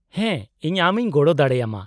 -ᱦᱮᱸ, ᱤᱧ ᱟᱢ ᱤᱧ ᱜᱚᱲᱚ ᱫᱟᱲᱮᱭᱟᱢᱟ ᱾